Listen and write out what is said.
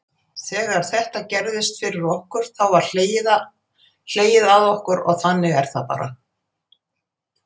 Þegar þetta gerðist fyrir okkur þá var hlegið að okkur þannig er þetta bara.